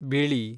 ಬಿಳಿ